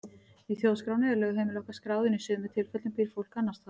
Í þjóðskránni er lögheimili okkar skráð en í sumum tilfellum býr fólk annars staðar.